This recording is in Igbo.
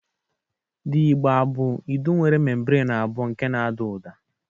The igba bụ idu nwere memburenu abụọ nke na ada ụda.